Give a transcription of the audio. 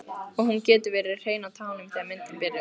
Og hún getur verið hrein á tánum þegar myndin byrjar.